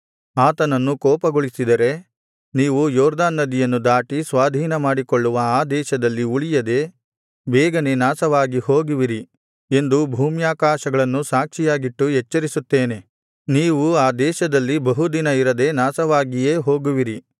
ಆತನನ್ನು ಕೋಪಗೊಳಿಸಿದರೆ ನೀವು ಯೊರ್ದನ್ ನದಿಯನ್ನು ದಾಟಿ ಸ್ವಾಧೀನಮಾಡಿಕೊಳ್ಳುವ ಆ ದೇಶದಲ್ಲಿ ಉಳಿಯದೆ ಬೇಗನೆ ನಾಶವಾಗಿ ಹೋಗುವಿರಿ ಎಂದು ಭೂಮ್ಯಾಕಾಶಗಳನ್ನು ಸಾಕ್ಷಿಯಾಗಿಟ್ಟು ಎಚ್ಚರಿಸುತ್ತೇನೆ ನೀವು ಆ ದೇಶದಲ್ಲಿ ಬಹುದಿನ ಇರದೆ ನಾಶವಾಗಿಯೇ ಹೋಗುವಿರಿ